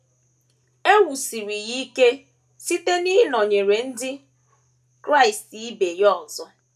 E wusiri ya ike site n’ịnọnyere ndị Kraịst ibe ya ọzọ.